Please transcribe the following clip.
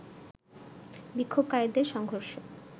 বিক্ষোভকারীদের সংঘর্ষ